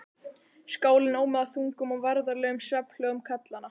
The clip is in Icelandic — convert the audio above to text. Skálinn ómaði af þungum og værðarlegum svefnhljóðum karlanna.